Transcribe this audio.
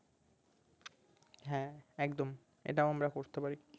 হ্যাঁ একদম এটাও আমরা করতে পারি